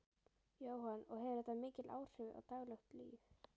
Jóhann: Og hefur þetta mikil áhrif á daglegt líf?